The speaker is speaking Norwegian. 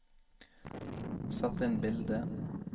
sett inn bilde